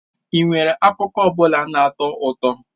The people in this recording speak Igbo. Ị nwere akụkọ ọ bụla na-atọ ụtọ?